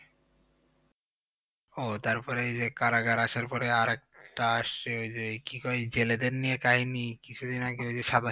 ও তারপরে এইযে কারাগার আসার পরে আরেকটা আসছে ওই যে কি কয় জেলেদের নিয়ে কাহিনী কিছুদিন আগে ঐযে